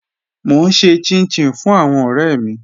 Mo n ṣè chìn-chìn fún àwọn ọ̀rẹ̀ mi